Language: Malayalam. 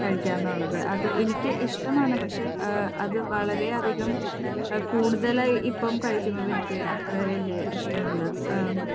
കഴിക്കുക എന്നുള്ളത്. അത് എനിക്ക് ഇഷ്ടമാണ്. പക്ഷേ, അത് വളരെയധികം കൂടുതലായി ഇപ്പം കഴിക്കുന്നത് എനിക്ക് അത്ര വല്യ ഇഷ്ടമല്ല.